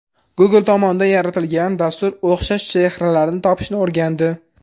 Google tomonidan yaratilgan dastur o‘xshash chehralarni topishni o‘rgandi .